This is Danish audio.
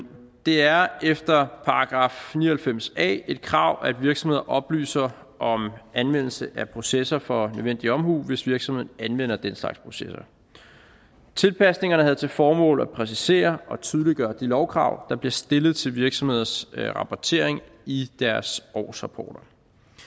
det er efter § ni og halvfems a et krav at virksomheder oplyser om anvendelse af processer for nødvendig omhu hvis virksomheden anvender den slags processer tilpasningerne har til formål at præcisere og tydeliggøre de lovkrav der bliver stillet til virksomheders rapportering i deres årsrapporter